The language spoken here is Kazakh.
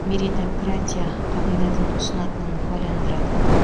меритократия қағидатын ұсынатынын куәландырады